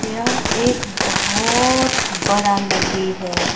यह एक बहुत बड़ा नदी है।